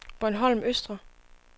Bornholm Østre